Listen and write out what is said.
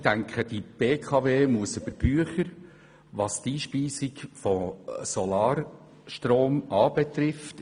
Ich denke, die BKW muss über die Bücher gehen, was die Einspeisung von Solarstrom betrifft.